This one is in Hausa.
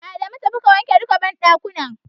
Adamu tafi ka wanke duka banɗakunan.